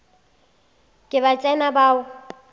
ke ba tsena ba o